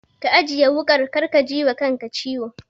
Ka ajiye wuƙar kar ka jiwa kanka ciwo.